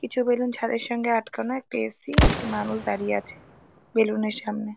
কিছু বেলুন ছাদের সঙ্গে আটকানো। একটি এ. সি. একটি মানুষ দাড়িয়ে আছে বেলুন এর সামনে।